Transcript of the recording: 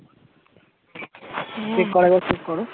হম ঠিক করে একবার check করো